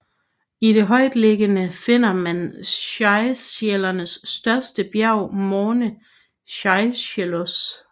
I det højtliggende finder man Seychellernes største bjerg Morne Seychellois